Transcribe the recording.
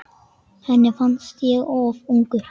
Henni fannst ég of ungur.